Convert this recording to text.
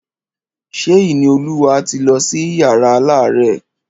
Ṣé Ìníolúwa ti lọ sí yàrá alárẹ̀?